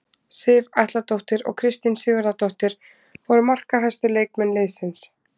Sif Atladóttir og Kristín Sigurðardóttir voru markahæstu leikmenn liðsins.